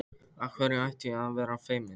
Af hverju ætti ég að vera feimin?